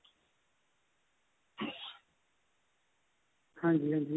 ਹਾਂਜੀ ਹਾਂਜੀ